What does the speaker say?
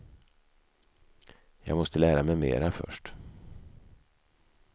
Jag måste lära mig mera först.